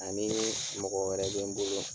Ani mɔgɔ wɛrɛ bɛ n bolo.